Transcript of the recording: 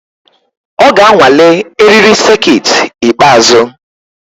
Ọ ga-anwale eriri sekit ikpeazụ.